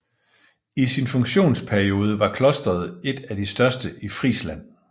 I sin funktionsperiode var klosteret et af de største i Frisland